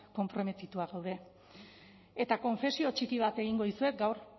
konprometitua gaude eta konfesio txiki bat egingo dizuet gaur